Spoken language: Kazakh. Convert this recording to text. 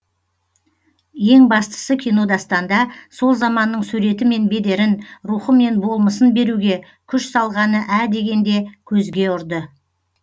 ең бастысы кинодастанда сол заманның суреті мен бедерін рухы мен болмысын беруге күш салғаны ә дегенде көзге ұрды